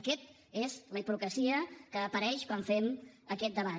aquesta és la hipocresia que apareix quan fem aquest debat